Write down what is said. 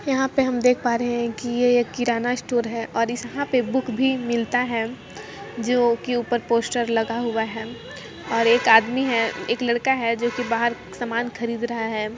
यहाँ पे हम देख पा रहे हैं कि ये एक किराना स्टोर है ओर इस यहाँ पर बुक भी मिलता है जोकी ऊपर पोस्टर लगा हुआ है ओर एक आदमी है एक लड़का है जोकी बहार समान खरीद रहा हैं।